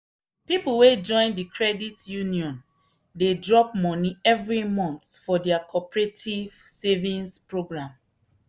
people wey join the credit union dey drop money every month for their cooperative savings program.